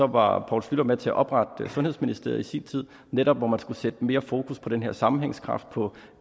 var poul schlüter med til at oprette sundhedsministeriet i sin tid hvor netop skulle sætte mere fokus på den her sammenhængskraft på